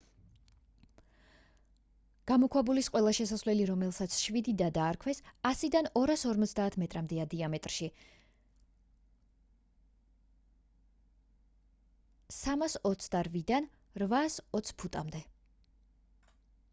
გამოქვაბულის ყველა შესასვლელი რომელსაც შვიდი და დაარქვეს 100-დან 250 მეტრამდეა დიამეტრში 328-დან 820 ფუტამდე